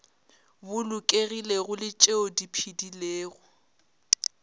bolokegilego le tšeo di phedilego